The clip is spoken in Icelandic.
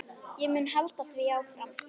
Ég mun halda því áfram.